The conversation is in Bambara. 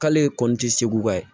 K'ale kɔnni tɛ segu ka ye